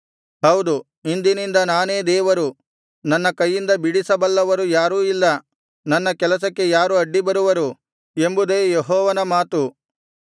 ಹೌದು ಇಂದಿನಿಂದ ನಾನೇ ದೇವರು ನನ್ನ ಕೈಯಿಂದ ಬಿಡಿಸಬಲ್ಲವರು ಯಾರೂ ಇಲ್ಲ ನನ್ನ ಕೆಲಸಕ್ಕೆ ಯಾರು ಅಡ್ಡಿ ಬರುವರು ಎಂಬುದೇ ಯೆಹೋವನ ಮಾತು